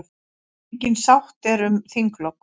Engin sátt er um þinglok.